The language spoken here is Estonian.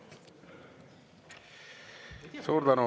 Suur tänu!